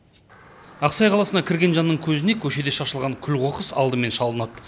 ақсай қаласына кірген жанның көзіне көшеде шашылған күл қоқыс алдымен шалынады